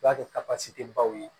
I b'a kɛ baw ye